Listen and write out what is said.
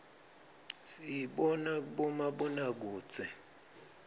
siyibona kubomabonakudze